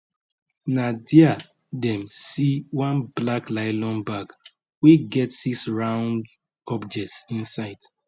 na dia dem see one black nylon bag wey get six round objects inside